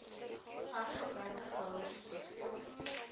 hergebruik houers soveel